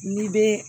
N'i bɛ